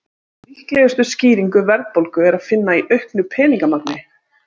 Líklegustu skýringu verðbólgu er að finna í auknu peningamagni.